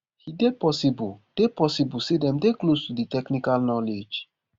e dey possible dey possible say dem dey close to di technical knowledge